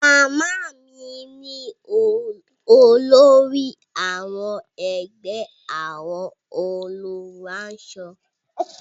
Màmá mi ni olórí àwọn ẹgbẹ́ àwọn olùránṣọ.